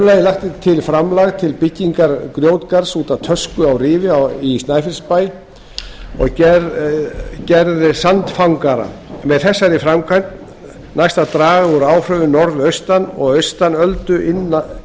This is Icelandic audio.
annars lagt er til framlag til byggingar grjótgarðs út að tösku á rifi í snæfellsbæ og gerðar sandfangara með þessari framkvæmd næst að draga úr áhrifum norðaustan og austanöldu innan